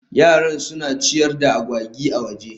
Yaran suna ciyar da agwagi a waje